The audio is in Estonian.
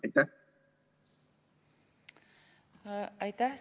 Aitäh!